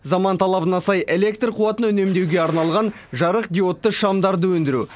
заман талабына сай электр қуатын үнемдеуге арналған жарық диодты шамдарды өндіру